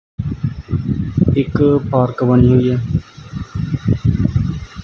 ਇੱਕ ਪਾਰਕ ਬਣੀ ਹੋਈ ਐ।